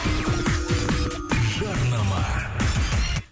жарнама